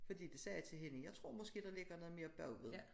Fordi det sagde til hende jeg tror måske der ligger noget mere bagved